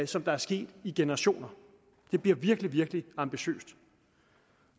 som er sket i generationer det bliver virkelig virkelig ambitiøst